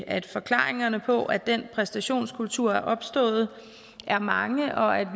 at forklaringerne på at den præstationskultur er opstået er mange og at